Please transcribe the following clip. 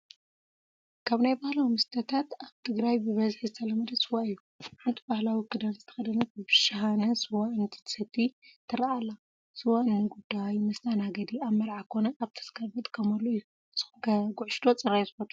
ካብ ናይ ባህላዊ መስተታት ኣብ ትግራይ ብበዝሒ ዝተለመደ ስዋ እዩ፡፡ ሓንቲ ባህላዊ ክዳን ዝተኸደነት ብሻሃነ ስዋ እንትትሰትይ ትረአ ኣላ፡፡ ስዋ ንጉዳይ መስተኣናገዲ ኣብ መርዓ ኮነ ኣብ ተስካር ንጥቀመሉ እዩ፡፡ ንስኹምከ ጉዕሽ ዶ ፅራይ ስዋ ትፈትው?